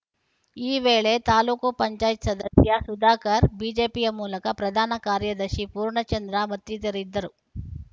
ಈ ವೇಳೆ ತಾಲ್ಲೂಕು ಪಂಚಾಯತಿ ಸದಸ್ಯ ಸುಧಾಕರ್‌ ಬಿಜೆಪಿಯ ತಾಲೂಕು ಪ್ರಧಾನ ಕಾರ್ಯದರ್ಶಿ ಪೂರ್ಣಚಂದ್ರ ಮತ್ತಿತರರಿದ್ದರು